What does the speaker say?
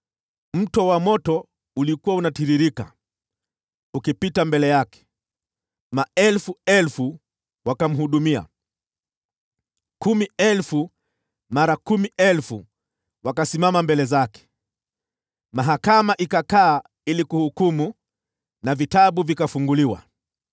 Mto wa moto ulikuwa unatiririka, ukipita mbele yake. Maelfu elfu wakamhudumia; kumi elfu mara kumi elfu wakasimama mbele zake. Mahakama ikakaa kuhukumu, na vitabu vikafunguliwa.